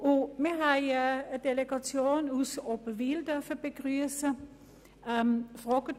Wir haben eine Delegation aus Oberwil begrüssen dürfen.